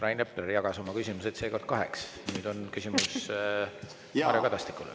Rain Epler jagas oma küsimused seekord kaheks ja nüüd on tal küsimus härra Kadastikule.